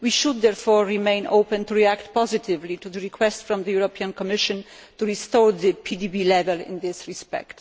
We should therefore remain open to reacting positively to the request from the European Commission to restore the PDB level in this respect.